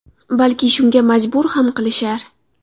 Balki, shunga majbur ham qilishar.